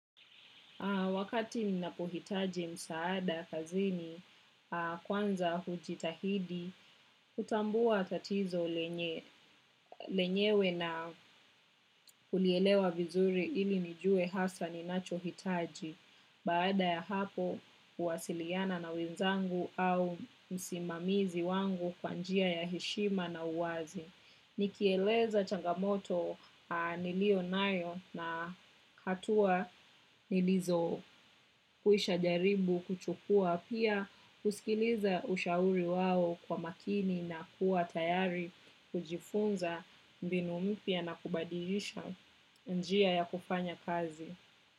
Wakati ninapohitaji msaada, kazini, kwanza hujitahidi, kutambua tatizo lenyewe na kulielewa vizuri ili nijue hasa ninacho hitaji. Baada ya hapo, huwasiliana na wenzangu au msimamizi wangu kwa njia ya heshima na uwazi. Nikieleza changamoto nilio nayo na hatua nilizo kwisha jaribu kuchukua pia huskiliza ushauri wao kwa makini na kuwa tayari hujifunza mbinu mpya na kubadilisha njia ya kufanya kazi.